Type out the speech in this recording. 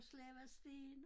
Og slæbt sten